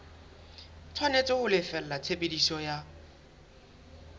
tshwanetse ho lefella tshebediso ya